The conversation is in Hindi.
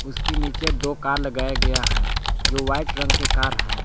उसके नीचे दो कार लगाया गया है जो व्हाइट रंग के कार है।